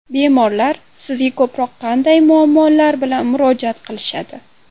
Bemorlar sizga ko‘proq qanday muammolar bilan murojaat qilishadi?